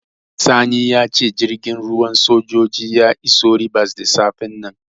Sani ya ce jirgin ruwan sojoji ya iso Ribas da safen nan.